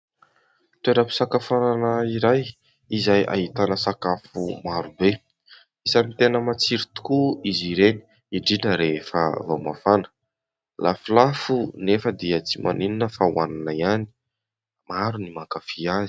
Toeram-pisakafoanana iray izay ahitana sakafo maro be. Isany tena matsiro tokoa izy ireny indrindra rehefa vao mafana. Lafolafo anefa dia tsy maninona fa hoanina ihany ; maro no mankafy azy.